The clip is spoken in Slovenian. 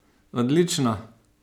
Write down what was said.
Odlično!